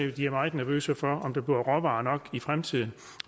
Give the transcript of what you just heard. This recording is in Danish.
at de er meget nervøse for om der bliver råvarer nok i fremtiden